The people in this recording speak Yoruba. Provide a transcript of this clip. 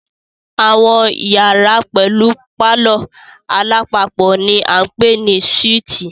Àwọn iyàrá pẹlú palọ̀ alápapọ̀ ni a ń pè ní súítì.